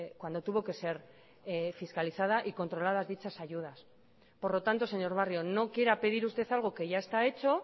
cuando tuvo que ser fiscalizada y controladas dichas ayudas por lo tanto señor barrio no quiera pedir usted algo que ya está hecho